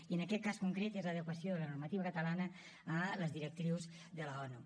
i en aquest cas concret és l’adequació de la normativa catalana a les directrius de l’onu